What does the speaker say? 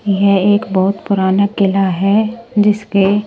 यह एक बहुत पुराना किला है जिसके --